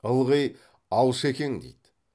ылғи алшекең дейді